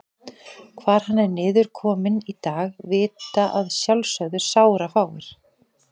Hvar hann er niðurkominn í dag vita að sjálfsögðu sárafáir.